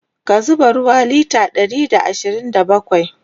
ka zuba ruwa litre Ɗari da ashirin da bakwai!